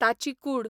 ताची कूड